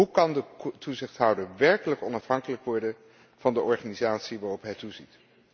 Hoe kan de toezichthouder werkelijk onafhankelijk worden van de organisatie waarop hij toeziet?